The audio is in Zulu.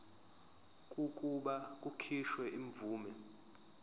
kokuba kukhishwe imvume